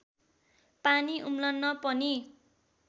पानी उम्लन पनि